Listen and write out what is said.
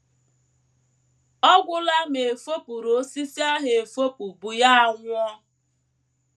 Ọ gwụla ma e fopụrụ osisi ahụ efopụ bụ ya anwụọ.